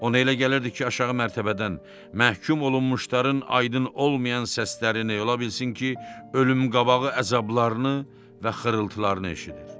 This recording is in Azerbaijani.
Ona elə gəlirdi ki, aşağı mərtəbədən məhkum olunmuşların aydın olmayan səslərini, ola bilsin ki, ölüm qabağı əzablarını və xırıltılarını eşidir.